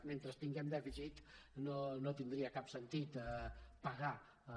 mentre tinguem dèficit no tindria cap sentit pagar el